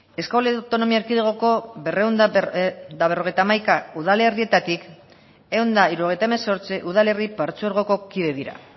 euskal autonomia erkidegoko berrehun eta berrogeita hamaika udalerrietatik ehun eta hirurogeita hemezortzi udalerri partzuergoko kide dira